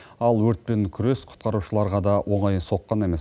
ал өртпен күрес құтқарушыларға да оңай соққан емес